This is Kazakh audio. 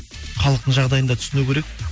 халықтың жағдайын да түсіну керек